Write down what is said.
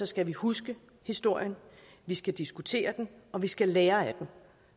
skal vi huske historien vi skal diskutere den og vi skal lære af den